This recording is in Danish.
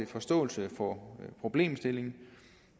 forståelse for problemstillingen